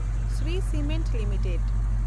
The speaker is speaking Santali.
Shri Cement limited